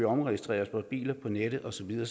omregistrerer vores biler på nettet og så videre